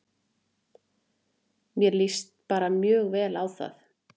Mér líst bara mjög vel á það.